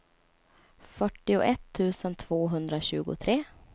fyrtioett tusen tvåhundratjugotre